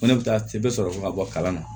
Ko ne bɛ taa sɛbɛn bɛ sɔrɔ ka bɔ kalan na